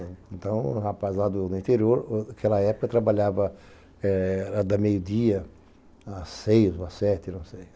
Então, um rapaz lá do interior, naquela época, eu trabalhava da meio-dia às seis ou às sete, não sei.